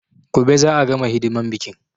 Gobe za a gama hidiman biƙin